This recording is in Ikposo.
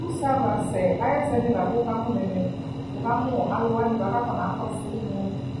Use ava ɔsɛ ayu ɛsɛnɩ lakʋ wʋkakɔ nɛmɛ Wʋkamʋ alʋwanɩ bʋakʋ akɔsʋ nʋ